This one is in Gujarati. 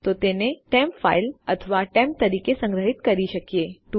તો આપણે તેને ટેમ્પ ફાઇલ અથવા ટેમ્પ તરીકે કે સંગ્રહી શકીએ છીએ